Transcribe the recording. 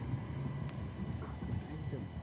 একদম,